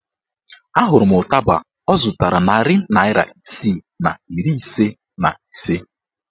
A hụrụ m ụtaba ọ zụtara narị naịra isii na iri ise na ise